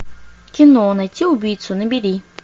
кино найти убийцу набери